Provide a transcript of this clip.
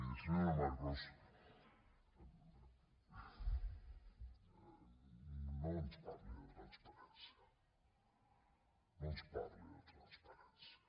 miri senyora marcos no ens parli de transparència no ens parli de transparència